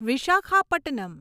Visakhapatnam